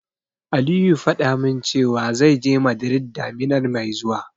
Aliyu faɗa min cewa, zai je Madrid daminar mai zuwa.